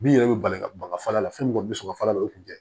Bin yɛrɛ bɛ bali ka baga fala fɛn min bi sɔn ka fala o kun tɛ